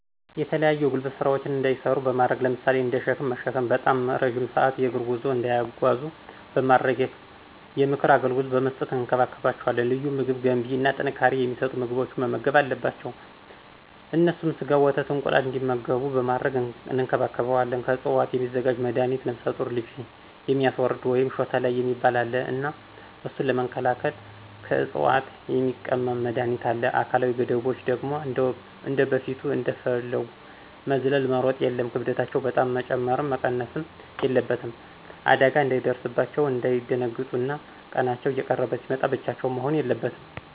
የተለያዩ የጉልበት ስራዎችን እንዳይሰሩ በማድረግ ለምሳሌ እንደ ሽክም መሽከም፥ ባጣም እረዥም ስአት የግር ጉዞ እንዳይጓዙ በማድረግ፣ የምክር አገልግሎት በመስጠት እንከባከባቸዋለን። ልዩ ምግብ ገንቢ እና ጥንካሬ የማሰጡ ምግቦችን መመገብ አለባቸው። እነሱም ሰጋ፣ ወተት፣ እንቁላል እንግዲመጉቡ በማድረግ እንከባክቤቸዌለን። ከዕፅዋት የሚዘጋጅ መድሀኒት ነፍሰጡሮች ልጅ የሚያስወርድ ወይም ሾተላይ የሚባል አለ እና እሱን ለመከላክል ክዕፅዋት የሚቀምም መድሀኒት አለ። አካላዊ ገደቦች ደግሞ እንደበፊቱ እንደፈጉ መዝለል፣ መሮጥ የለም፣ ክብደታቸው በጣም መጨመረም መቀነስም የለበትም። አዳጋ እንዳይደርስባቸው፣ እንዳይደነግጡ እና ቀናቸው እየቀረበ ሲመጣ ብቻቸውን መሆን የለበትም።